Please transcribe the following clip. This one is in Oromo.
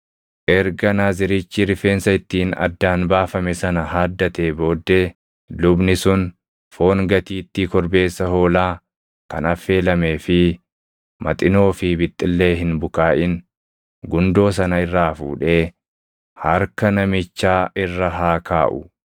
“ ‘Erga Naazirichi rifeensa ittiin addaan baafame sana haaddatee booddee lubni sun foon gatiittii korbeessa hoolaa kan affeelamee fi Maxinoo fi bixxillee hin bukaaʼin gundoo sana irraa fuudhee harka namichaa irra haa kaaʼu.